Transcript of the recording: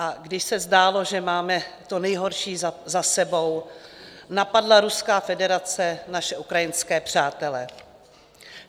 A když se zdálo, že máme to nejhorší za sebou, napadla Ruská federace naše ukrajinské přátele.